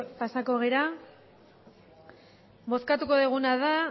pasako gara bozkatuko duguna da